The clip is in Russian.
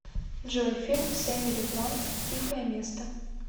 джой фильм с эмили бланд тихое место